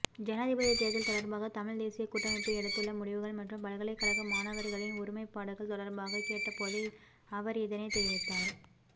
ஜனாதிபதிதேர்தல் தொடர்பாக தமிழ்தேசியக் கூட்டமைப்பு எடுத்துள்ள முடிவுகள் மற்றும் பல்கலைகழக மாணவர்களின் ஒருமைப்பாடுகள் தொடர்பாக கேட்டபோதே அவர் இதனைத் தெரிவித்தார்